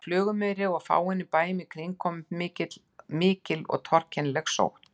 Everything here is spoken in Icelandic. Á Flugumýri og á fáeinum bæjum í kring kom upp mikil og torkennileg sótt.